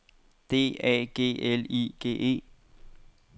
D A G L I G E